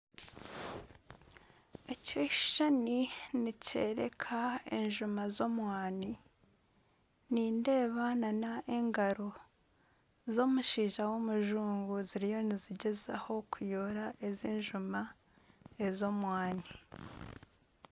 Ekishushani nikyoreka enjuma z'omwaani nindeeba n'engaro z'omushaija w'omujungu ziriyo nizigyezaho kuyoora ezi njuma ez'omwaani.